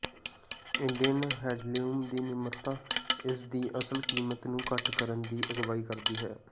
Indian handloom ਦੀ ਨਿਮਰਤਾ ਇਸ ਦੀ ਅਸਲ ਕੀਮਤ ਨੂੰ ਘੱਟ ਕਰਨ ਦੀ ਅਗਵਾਈ ਕਰਦੀ ਹੈ